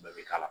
Bɛɛ bɛ k'a la